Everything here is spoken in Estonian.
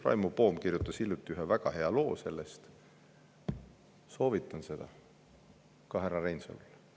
Raimo Poom kirjutas hiljuti ühe väga hea loo sellel teemal, soovitan seda ka härra Reinsalule.